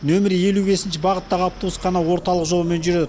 нөмірі елу бесінші бағыттағы автобус қана орталық жолмен жүреді